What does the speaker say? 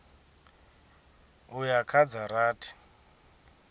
u ya kha dza rathi